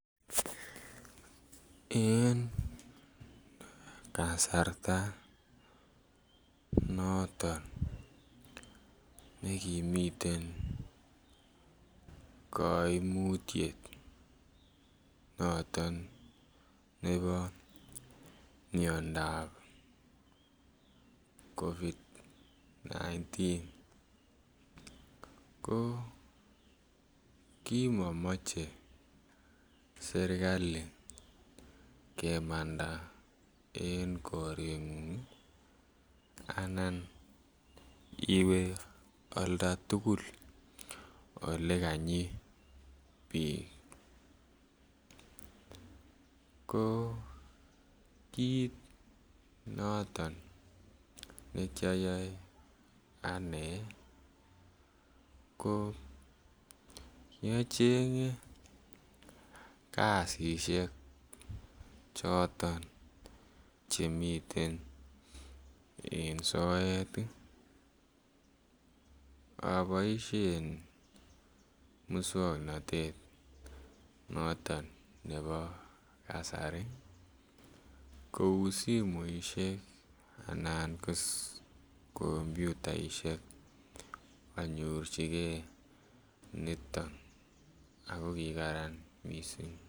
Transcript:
En kasarta noton ne kimiten kaimutyet noton nebo miandap ab covid 19 ko ki momoche serkali kemanda en korengung Anan iwe oldo tugul Ole kanyii bik ko kiit noton nekioyoe ane ko kiachenge kasisyek choton chemiten en soet aboisien moswoknatet noton nebo kasari kou simoisiek Anan komputaisiek anyorchige niton ago ki kararan mising